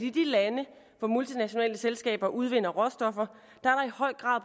i de lande hvor multinationale selskaber udvinder råstoffer i høj grad